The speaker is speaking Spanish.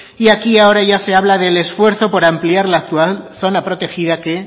y aquí ahora ya se habla del esfuerzo por ampliar la actual zona protegida que